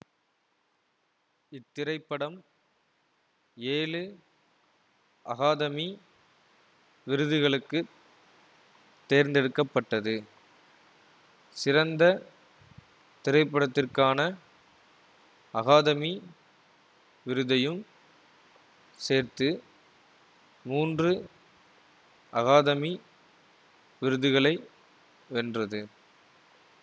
இத்திரைப்படம் ஏழு அகாதமி விருதுகளுக்கு தேர்ந்தெடுக்க பட்டது சிறந்த திரைப்படத்திற்கான அகாதமி விருதையும் சேர்த்து மூன்று அகாதமி விருதுகளை வென்றது